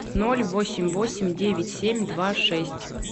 ноль восемь восемь девять семь два шесть